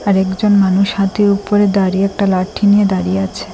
আর একজন মানুষ হাতির উপরে দাঁড়িয়ে একটা লাঠি নিয়ে দাঁড়িয়ে আছে।